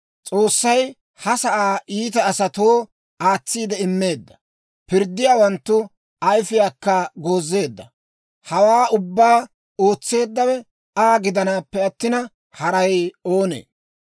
S'oossay ha sa'aa iita asatoo aatsiide immeedda; pirddiyaawanttu ayifiyaakka goozeedda. Hawaa ubbaa ootseeddawe Aa gidanaappe attina, haray oonee?